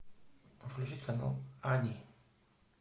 включить канал ани